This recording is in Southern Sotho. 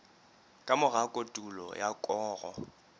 ka mora kotulo ya koro